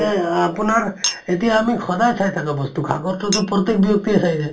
নে আপোনাৰ, এতিয়া আমি সদায় চাই থাকা বস্তু । আগততো তো